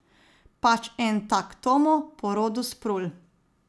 Pač en tak Tomo, po rodu s Prul.